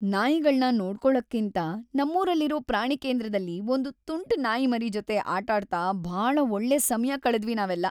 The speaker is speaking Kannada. ನಾಯಿಗಳ್ನ ನೋಡ್ಕೊಳಕ್ಕೇಂತ ನಮ್ಮೂರಲ್ಲಿರೋ ಪ್ರಾಣಿಕೇಂದ್ರದಲ್ಲಿ ಒಂದ್‌ ತುಂಟ್ ನಾಯಿಮರಿ‌ ಜೊತೆ ಆಟಾಡ್ತ ಭಾಳ ಒಳ್ಳೆ ಸಮಯ ಕಳೆದ್ವಿ ನಾವೆಲ್ಲ.